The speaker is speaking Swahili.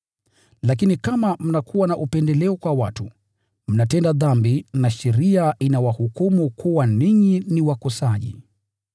Lakini kama mnakuwa na upendeleo kwa watu, mnatenda dhambi, na sheria inawahukumu kuwa ninyi ni wakosaji.